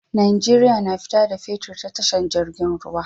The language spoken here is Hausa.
Nigeria na fita da fetir ta tasha jirgin ruwa